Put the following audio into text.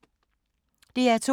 DR2